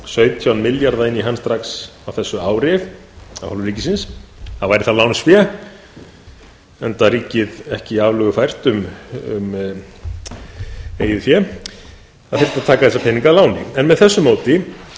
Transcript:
sautján milljarða inn í hann strax á þessu ári af hálfu ríkisins þá væri það lánsfé enda ríkið ekki aflögufært um eigið fé það þyrfti að taka þessa peninga að láni með þessu móti